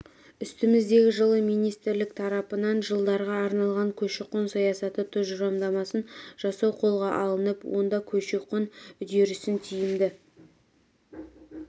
үстіміздегі жылы министрлік тарапынан жылдарға арналған көші-қон саясаты тұжырымдамасын жасау қолға алынып онда көші-қон үдерісін тиімді